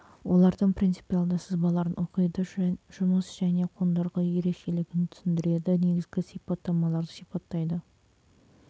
олардың принципиалды сызбаларын оқиды жұмыс және қондырғы ерекшелігін түсіндіреді негізгі сипаттамаларды сипаттайды